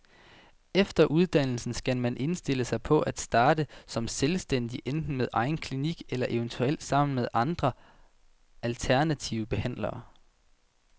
Efter uddannelsen skal man indstille sig på at starte som selvstændig, enten med egen klinik eller eventuelt sammen med andre alternative behandlere.